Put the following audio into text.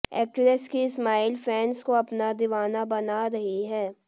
actress की smile fans को अपना दीवाना बना रही है